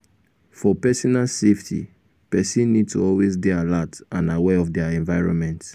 for personal safety person need to always dey alert and aware of their environment